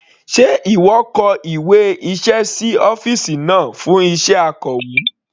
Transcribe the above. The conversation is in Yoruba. Sé ìwọ kọ ìwé iṣẹ́ sí ọ́fìsì náà fún iṣẹ́ Akọ̀wé?